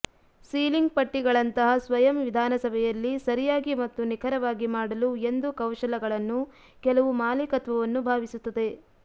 ceiling ಪಟ್ಟಿಗಳಂತಹ ಸ್ವಯಂ ವಿಧಾನಸಭೆಯಲ್ಲಿ ಸರಿಯಾಗಿ ಮತ್ತು ನಿಖರವಾಗಿ ಮಾಡಲು ಎಂದು ಕೌಶಲಗಳನ್ನು ಕೆಲವು ಮಾಲೀಕತ್ವವನ್ನು ಭಾವಿಸುತ್ತದೆ